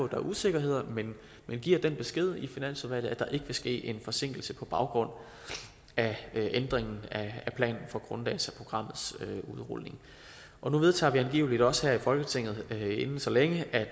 der er usikkerheder men giver den besked i finansudvalget at der ikke vil ske en forsinkelse på baggrund af ændringen af planen for grunddataprogrammets udrulning nu vedtager vi angiveligt også her i folketinget inden så længe at